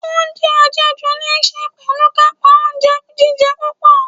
Oúnjẹ àjẹjù níí ṣe pẹ̀lú kàńpá oúnjẹ jíjẹ púpọ̀.